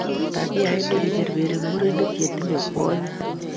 Tabiait ni kiberberi murenik che tinye kwonyik